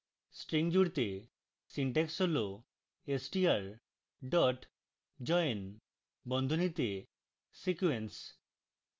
string জুড়তে syntax হল str dot join বন্ধনীতে sequence